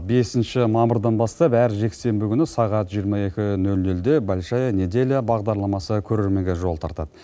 бесінші мамырдан бастап әр жексенбі күні сағат жиырма екі нөл нөлде большая неделя бағдарламасы көрерменге жол тартады